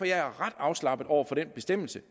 jeg er ret afslappet over for den bestemmelse